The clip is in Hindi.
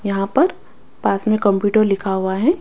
यहां पर पास में कंप्यूटर लिखा हुआ है।